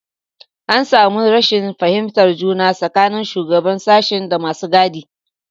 An samu rashin fahimtar juna tsakanin shugaban sashen da masu gadi.